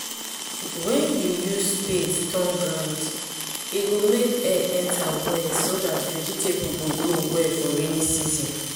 when you use spade turn ground e go make air enter well so that vegetable go grow well for rainy season